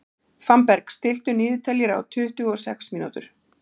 Fannberg, stilltu niðurteljara á tuttugu og sex mínútur.